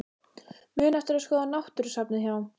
Muna eftir að skoða náttúrusafnið hjá